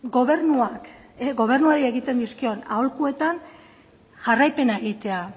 gobernuak gobernuari egiten dizkion aholkuetan jarraipena egitea